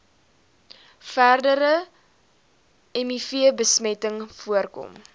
verdere mivbesmetting voorkom